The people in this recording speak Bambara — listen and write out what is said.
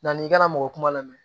Yanni i kana mɔgɔ kuma lamɛn